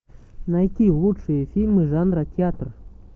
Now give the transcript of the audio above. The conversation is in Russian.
найти лучшие фильмы жанра театр